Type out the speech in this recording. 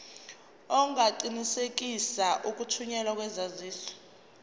ungaqinisekisa ukuthunyelwa kwesaziso